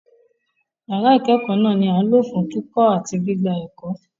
Ìyàrá ìkẹẹkọ náà ni a ǹ lò fún kíkọ́ àti gbigbạ ẹkọ́.